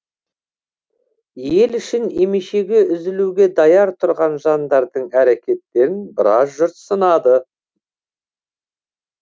ел үшін емешегі үзілуге даяр тұрған жандардың әрекеттерін біраз жұрт сынады